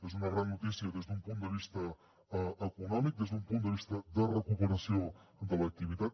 són una gran notícia des d’un punt de vista econòmic des d’un punt de vista de recuperació de l’activitat